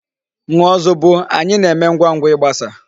Ṅụọ zobo! Anyi na-eme ngwangwa igbasa.